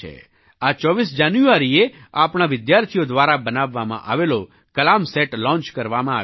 આ 24 જાન્યુઆરીએ આપણા વિદ્યાર્થો દ્વારા બનાવવામાં આવેલો કલામ સેટ લૉન્ચ કરવામાં આવ્યો છે